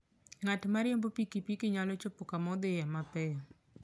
Ng'at ma riembo pikipiki nyalo chopo kama odhiye mapiyo.